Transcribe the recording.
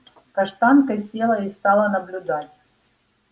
каштанка села и стала наблюдать